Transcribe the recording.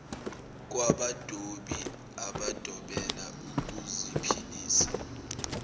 kwabadobi abadobela ukuziphilisa